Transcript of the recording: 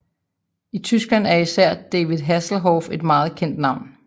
I Tyskland især er David Hasselhoff et meget kendt navn